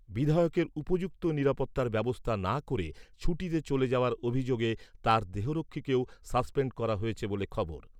বিধায়কের উপযুক্ত নিরাপত্তার ব্যবস্থা না করে ছুটিতে চলে যাওয়ার অভিযোগে তার দেহরক্ষীকেও সাসপেন্ড করা হয়েছে বলে খবর।